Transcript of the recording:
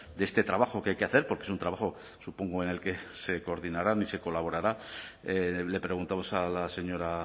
de este trabajo que hay que hacer porque es un trabajo supongo en el que se coordinarán y se colaborará le preguntamos a la señora